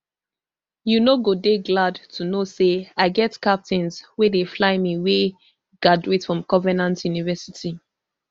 you no dey glad to know say i get captains wey dey fly me wey graduate from covenant university